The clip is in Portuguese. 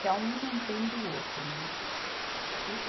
Que é um mantendo o outro, né? É o